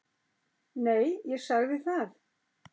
Nei, ég sagði það.